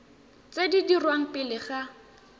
tse di dirwang pele ga